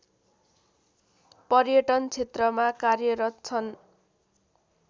पर्यटन क्षेत्रमा कार्यरत छन्